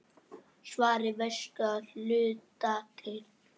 Svarið veistu að hluta til.